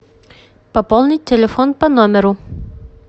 пополнить телефон по номеру